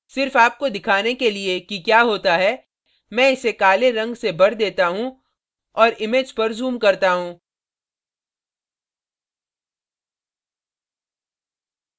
सिर्फ आपको दिखाने के लिए कि क्या होता है मैं इसे काले रंग से भर देती है और image पर zoom करता हूँ